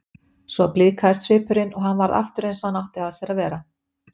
Svo blíðkaðist svipurinn og hann varð aftur eins og hann átti að sér að vera.